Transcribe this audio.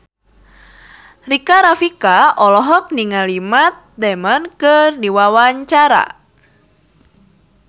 Rika Rafika olohok ningali Matt Damon keur diwawancara